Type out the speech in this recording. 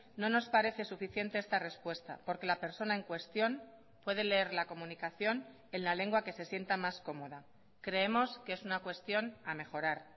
no nos parece suficiente esta respuesta porque la persona en cuestión puede leer la comunicación en la lengua que se sienta más cómoda creemos que es una cuestión a mejorar